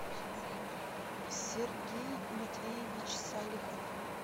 сергей матвеевич салихов